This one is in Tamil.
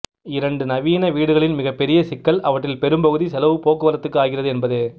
இரண்டு நவீன வீடுகளின் மிகப்பெரிய சிக்கல் அவற்றில் பெரும்பகுதிச் செலவு போக்குவரத்துக்கு ஆகிறது என்பதே